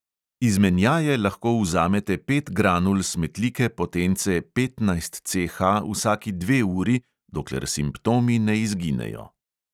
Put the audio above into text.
Izmenjaje lahko vzamete pet granul smetlike potence petnajst CH vsaki dve uri, dokler simptomi ne izginejo.